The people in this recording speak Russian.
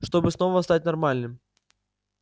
чтобы снова стать нормальным